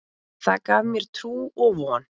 Það gaf mér trú og von.